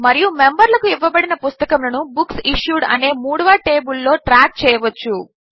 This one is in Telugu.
మరియు మెంబర్లకు ఇవ్వబడిన పుస్తకములను బుక్సిష్యూడ్ అనే మూడవ టేబిల్లో ట్రాక్ చేయవచ్చు